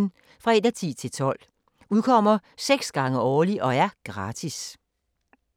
Udkommer 6 gange årligt og er gratis.